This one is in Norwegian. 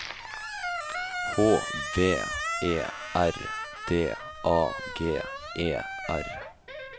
H V E R D A G E R